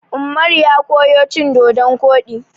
Ummaru ya koyo cin dodon koɗi.